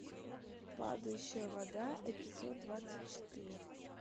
падающая вода эпизод двадцать четыре